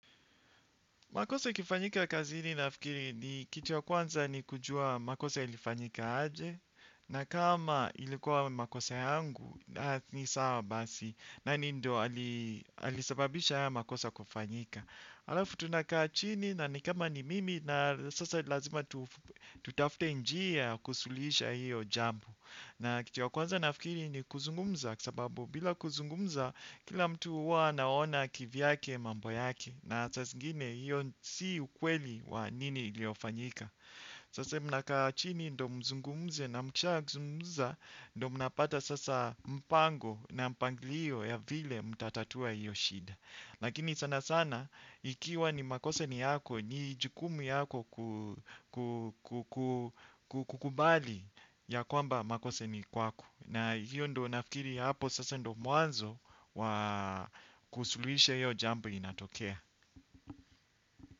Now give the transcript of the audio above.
Makosa ikifanyika kazini nafikiri kitu ya kwanza ni kujua makosa ilifanyika aje na kama ilikuwa makosa yangu ni sawa basi nani ndio alisababisha haya makosa kufanyika. Alafu tunakaa chini na ni kama ni mimi na sasa lazima tutafute njia kusuluhisha hiyo jambo. Na kitu ya kwanza nafikiri ni kuzungumza kasababu bila kuzungumza kila mtu uwa anaona kivyake mambo yake na saa singine hiyo si ukweli wa nini iliofanyika. Sasa mnakaa chini ndo mzungumze na mkisha zungumza ndo mnapata sasa mpango na mpanglio ya vile mtatatua hiyo shida. Lakini sana sana, ikiwa ni makosa ni yako, ni jukumu yako kukubali ya kwamba makosa ni kwako. Na hiyo ndo nafikiri hapo sasa ndo mwanzo wa kusuluisha hiyo jambo inatokea.